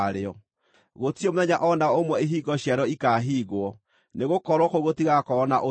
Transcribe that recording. Gũtirĩ mũthenya o na ũmwe ihingo ciarĩo ikaahingwo, nĩgũkorwo kũu gũtigakorwo na ũtukũ.